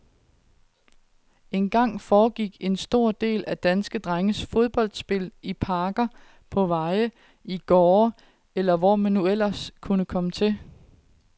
En gang, , foregik en stor del af danske drenges fodboldspil i parker, på veje, i gårde,, eller hvor man nu ellers kunne komme til.